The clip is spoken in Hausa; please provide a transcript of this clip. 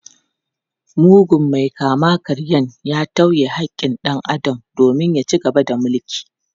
Mugun mai kama-karyan ya tauye haƙƙin dan Adam domin ya ci gaba da mulki.